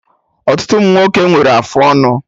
Ọtụtụ ụmụnwoke nwere afụ ọnụ